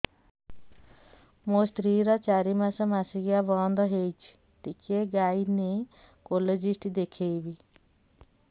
ମୋ ସ୍ତ୍ରୀ ର ଚାରି ମାସ ମାସିକିଆ ବନ୍ଦ ହେଇଛି ଟିକେ ଗାଇନେକୋଲୋଜିଷ୍ଟ ଦେଖେଇବି